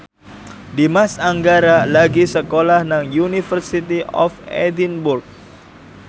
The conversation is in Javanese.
Dimas Anggara lagi sekolah nang University of Edinburgh